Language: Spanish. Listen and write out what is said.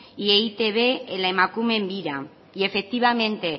y e i te be en la emakumeen bira y efectivamente